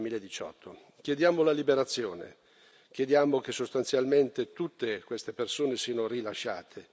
2018. Chiediamo la liberazione, chiediamo che sostanzialmente tutte queste persone siano rilasciate.